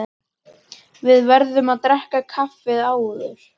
Við verðum að drekka kaffi áður.